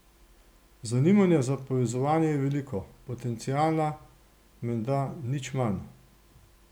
Zanimanja za povezovanje je veliko, potenciala menda nič manj.